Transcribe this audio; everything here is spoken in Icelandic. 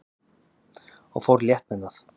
og fór létt með það.